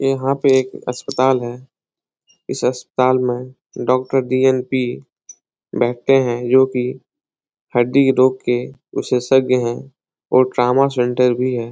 यहाँ पे एक अस्पताल है इस अस्पताल में डॉक्टर डी.न.पी. बैठते है जो की हड्डी रोग के विशेषज्ञ है और ट्रामा सेंटर भी है।